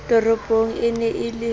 toropong e ne e le